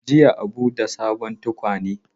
Jiya Abu ta sayo tukwane.